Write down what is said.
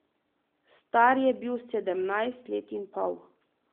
Star je bil sedemnajst let in pol.